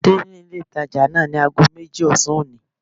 Pàdé ní ilé ìtajà náà ní ago méjì ọ̀sán òní